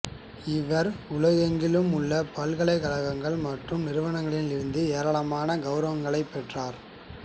இவர் உலகெங்கிலும் உள்ள பல்கலைக்கழகங்கள் மற்றும் நிறுவனங்களிலிருந்து ஏராளமான கௌரவங்களைப் பெற்றார்